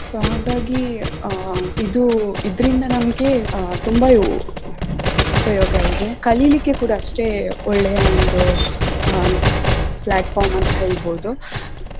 So ಹಂಗಾಗಿ ಅಹ್ ಇದು ಇದರಿಂದ ನಮಗೆ ತುಂಬಾ ಉಪಯೋಗವಿದೆ ಕಲಿಲಿಕ್ಕೆ ಕೂಡಾ ಅಷ್ಟೇ ಒಳ್ಳೆಯ ಒಂದು ಹ platform ಅಂತ ಹೇಳ್ಬೋದು.